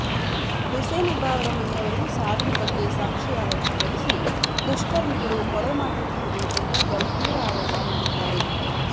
ಹುಸೇನಬ್ಬ ಅವರ ಮನೆಯವರು ಸಾವಿನ ಬಗ್ಗೆ ಸಂಶಯ ವ್ಯಕ್ತಪಡಿಸಿ ದುಷ್ಕರ್ಮಿಗಳು ಕೊಲೆ ಮಾಡಿರಬಹುದು ಎಂದು ಗಂಭೀರ ಆರೋಪ ಮಾಡಿದ್ದಾರೆ